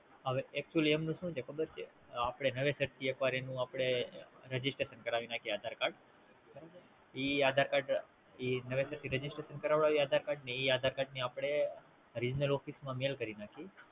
હવે આપણે Aadhaar card Registration કરી ને Office માં આપશે